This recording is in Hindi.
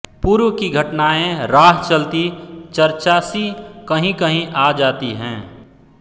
पूर्व की घटनाएँ राह चलती चर्चासी कहींकहीं आ जाती हैं